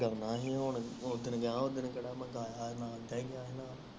ਮੈਂ ਨਹੀਂ ਹੁਣ ਉਧਰ ਗਾਉਣਾ ਹੀ ਹੁਣ ਉਥਰ ਗਾਣਾ ਫਿਰ ਕਿਹੜਾ